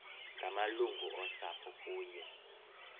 ngamalungu osapho kunye